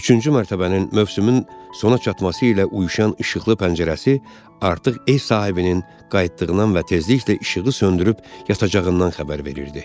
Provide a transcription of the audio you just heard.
Üçüncü mərtəbənin mövsümün sona çatması ilə uyuşan işıqlı pəncərəsi artıq ev sahibinin qayıtdığından və tezliklə işığı söndürüb yatacağından xəbər verirdi.